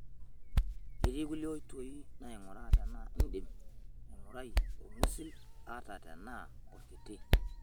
Ketii kulie oiti nainguraa tenaa indim aing'uai olng'usil ata tenaa olkiti.